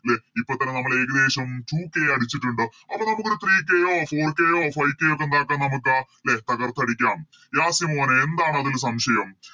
ലെ ഇപ്പൊത്തന്നെ നമ്മള്ഏകദേശം Two k അടിച്ചിട്ടുണ്ട് അപ്പൊ നമുക്കിവിടെ Three k ഓ Four k ഓ Five k ഓ ഒക്കെ എന്താക്കാം നമുക്ക് ലെ തകർത്തടിക്കാം യാസി മോനെ എന്താണതില് സംശയം